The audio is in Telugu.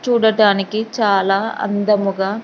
చూడటానికి చాలా అందముగా.